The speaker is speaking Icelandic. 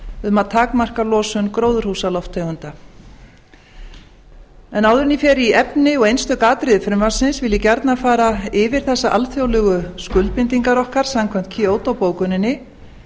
um að takmarka losun gróðurhúsalofttegunda áður en ég fer í efni og einstök atriði frumvarpsins vil ég gjarnan fara yfir þessar alþjóðlegu skuldbindingar okkar samkvæmt kyoto bókuninni